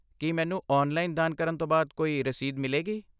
ਕੀ ਮੈਨੂੰ ਔਨਲਾਈਨ ਦਾਨ ਕਰਨ ਤੋਂ ਬਾਅਦ ਕੋਈ ਰਸੀਦ ਮਿਲੇਗੀ?